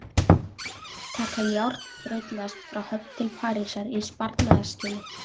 Taka járnbrautarlest frá Höfn til Parísar í sparnaðarskyni.